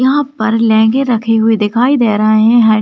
यहां पर लहंगे रखे हुए दिखाई दे रहे है।